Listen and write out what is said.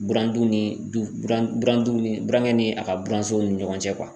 Burandu ni du burandu ni burankɛ ni a ka buransow ni ɲɔgɔn cɛ